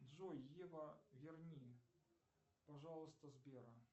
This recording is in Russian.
джой ева верни пожалуйста сбера